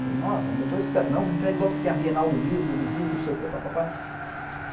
'falei ''nossa ainda to escrevendo. Não, me entregue logo porque tem a bienal do livro no Rio, não sei o que, papapá.''